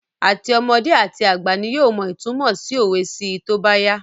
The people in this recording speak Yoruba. Àti ọmọdé àti àgbà ni yóò mọ ìtunmọ̀ sí òwe sí í tóbá yá